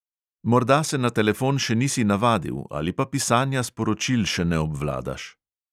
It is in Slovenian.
Morda se na telefon še nisi navadil ali pa pisanja sporočil še ne obvladaš.